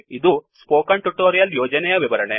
ಇದು ಈ spoken tutorial ಯೋಜನೆಯ ವಿವರಣೆ